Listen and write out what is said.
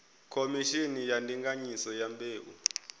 khomishini ya ndinganyiso ya mbeu